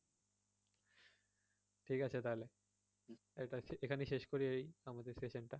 ঠিক আছে তাহলে এখানেই শেষ করি আমাদের session টা